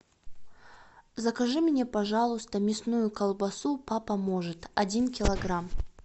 закажи мне пожалуйста мясную колбасу папа может один килограмм